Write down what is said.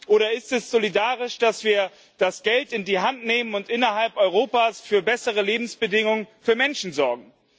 Oder ist es solidarisch, dass wir das Geld in die Hand nehmen und innerhalb Europas für bessere Lebensbedingungen für Menschen sorgen?